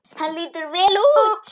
Hann lítur vel út